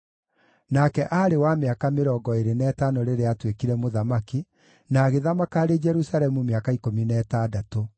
Nake aarĩ wa mĩaka mĩrongo ĩĩrĩ na ĩtano rĩrĩa aatuĩkire mũthamaki, na agĩthamaka arĩ Jerusalemu mĩaka ikũmi na ĩtandatũ.